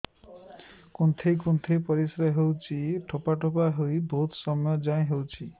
କୁନ୍ଥେଇ କୁନ୍ଥେଇ ପରିଶ୍ରା ହଉଛି ଠୋପା ଠୋପା ହେଇ ବହୁତ ସମୟ ଯାଏ ହଉଛି